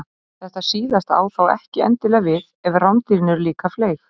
Þetta síðasta á þó ekki endilega við ef rándýrin eru líka fleyg.